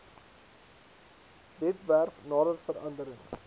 webwerf nadat veranderings